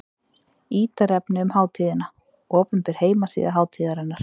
Ítarefni um hátíðina: Opinber heimasíða hátíðarinnar.